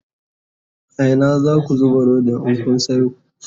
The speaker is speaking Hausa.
a Ina zaku zuba Rodin in Kun Sayo?